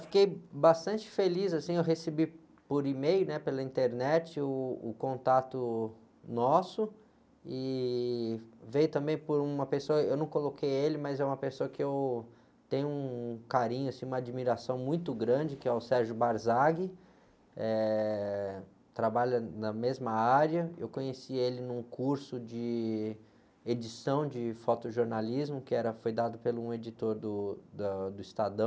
Fiquei bastante feliz, assim, eu recebi por e-mail, pela internet, uh, o contato nosso, e veio também por uma pessoa, eu não coloquei ele, mas é uma pessoa que eu tenho um carinho, assim, uma admiração muito grande, que é o, trabalha na mesma área, eu conheci ele num curso de edição de fotojornalismo, que era, foi dado por um editor do Estadão,